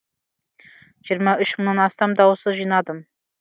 жиырма үш мыңнан астам дауыс жинадым